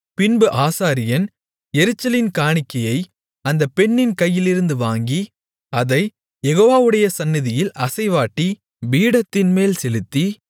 பின்பு ஆசாரியன் எரிச்சலின் காணிக்கையை அந்த பெண்ணின் கையிலிருந்து வாங்கி அதைக் யெகோவாவுடைய சந்நிதியில் அசைவாட்டி பீடத்தின்மேல் செலுத்தி